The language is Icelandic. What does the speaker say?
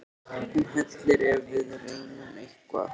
Hún hellir ef við reynum eitthvað.